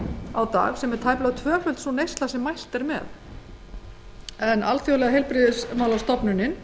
á dag sem er tæplega tvöföld sú neysla sem mælt er með alþjóðaheilbrigðismálastofnunin